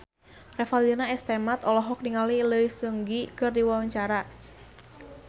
Revalina S. Temat olohok ningali Lee Seung Gi keur diwawancara